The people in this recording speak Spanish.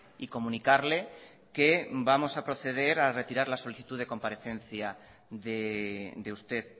y comunicarle que vamos a proceder a retirar la solicitud de comparecencia de usted